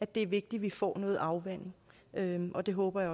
det er vigtigt vi får noget afvanding og det håber